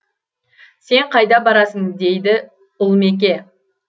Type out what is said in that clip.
сен қайда барасың дейді ұлмеке